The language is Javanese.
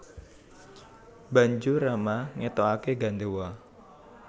Banjur Rama ngetokake gandewa